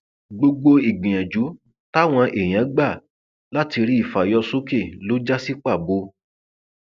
gbogbo ìgbìyànjú táwọn èèyàn gbà láti rí i fà yọ sókè ló já sí pàbó